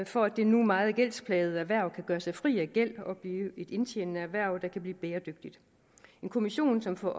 for at det nu meget gældsplagede erhverv kan gøre sig fri af gæld og blive et indtjenende erhverv der kan blive bæredygtigt en kommission som får